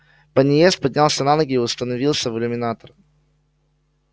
пониетс поднялся на ноги и установился в иллюминатор